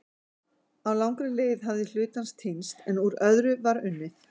á langri leið hafði hluti hans týnst en úr öðru var unnið